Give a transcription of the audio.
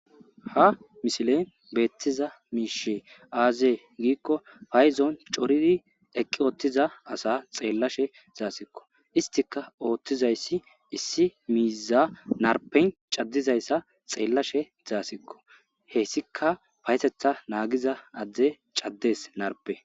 Ha misile beettiza miishe aazee giikko payzon coridi eqqi uttiza asa xeellashe dasikko. Istika oothtizayssi issi miiza narpen caddizayssa xeellashe dasikko. Heyssika paytetha naagiza adde caddes narpe.